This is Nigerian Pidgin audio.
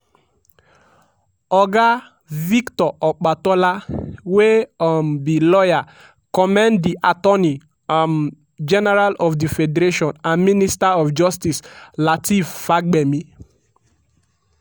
oga victor opatola wey um be lawyer commend di attorney um general of di federation and minister of justice lateef fagbemi.